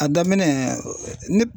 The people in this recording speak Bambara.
A daminɛn